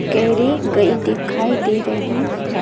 केरी गई दिखाई दे रही है।